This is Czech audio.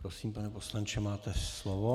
Prosím, pane poslanče, máte slovo.